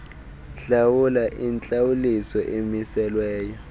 hlawula intlawuliso emiselweyo